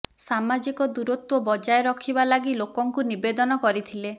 ସାମାଜିକ ଦୂରତ୍ୱ ବଜାୟ ରଖିବା ଲାଗି ଲୋକଙ୍କୁ ନିବେଦନ କରିଥିଲେ